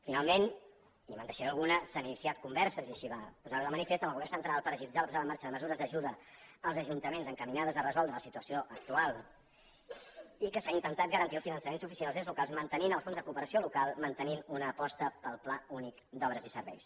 finalment i me’n deixaré alguna s’han iniciat converses i així va posar ho de manifest amb el govern central per agilitzar la posada en marxa de mesures d’ajuda als ajuntaments encaminades a resoldre la situació actual i que s’ha intentat garantir el finançament suficient als ens locals mantenint el fons de cooperació local mantenint una aposta pel pla únic d’obres i serveis